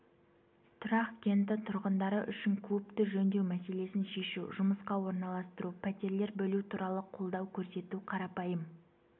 тұрақ кенті тұрғындары үшін клубты жөндеу мәселесін шешу жұмысқа орналастыру пәтерлер бөлу туралы қолдау көрсету қарапайым